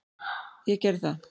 Ég gerði það.